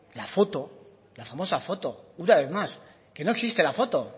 la foto la famosa foto una vez más que no existe la foto